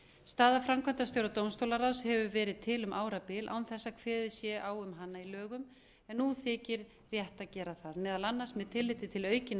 staða framkvæmdastjóra dómstólaráðs hefur verið til um árabil án þess að kveðið sé á um hana í lögum en nú þykir rétt að gera það meðal annars með tilliti til aukinna